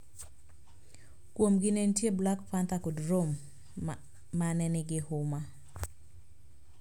Kuomgi ne nitie Black Panther kod Rome, ma ne nigi huma.